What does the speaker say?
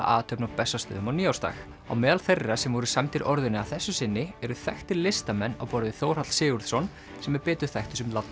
athöfn á Bessastöðum á nýársdag á meðal þeirra sem voru sæmdir orðunni að þessu sinni eru þekktir listamenn á borð við Þórhall Sigurðsson sem er betur þekktur sem